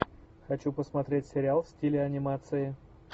хочу посмотреть сериал в стиле анимации